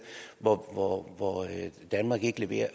hvor danmark ikke leverer